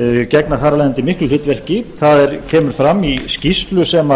og gegna þar af leiðandi miklu hlutverki það kemur fram í skýrslu sem